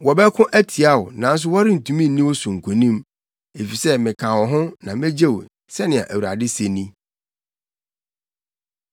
Wɔbɛko atia wo, nanso wɔrentumi nni wo so nkonim, efisɛ meka wo ho na megye wo,” sɛnea Awurade se ni.